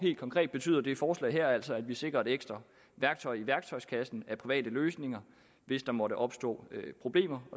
konkret betyder det forslag her altså at vi sikrer et ekstra værktøj i værktøjskassen af private løsninger hvis der måtte opstå problemer